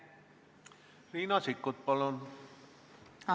Riina Sikkut, palun!